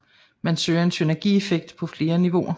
Man søger en synergieffekt på flere niveauer